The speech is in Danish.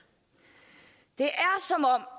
det